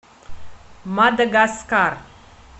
мадагаскар